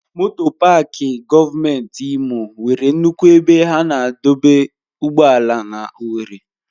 Moto Pááki gọọmenti Imo nwere nnukwu ebe a na-adọba ụgbọala na owerri.